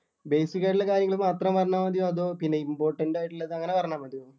basic ആയിട്ടുള്ള കാര്യങ്ങള് മാത്രം പറഞ്ഞാ മതിയോ അതോ ഇങ്ങനെ important ആയിട്ടുള്ളത് അങ്ങനെ പറഞ്ഞാ മതിയോ